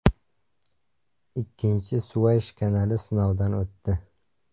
Ikkinchi Suvaysh kanali sinovdan o‘tdi.